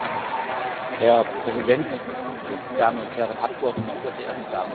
Herr Präsident, Damen und Herren Abgeordnete, meine sehr verehrten Damen und Herren!